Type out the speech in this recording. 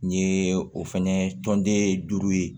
N ye o fɛnɛ tɔnden duuru ye